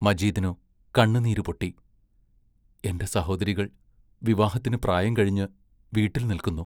മജീദിനു കണ്ണുനീരു പൊട്ടി എന്റെ സഹോദരികൾ വിവാഹത്തിനു പ്രായം കഴിഞ്ഞ് വീട്ടിൽ നിൽക്കുന്നു.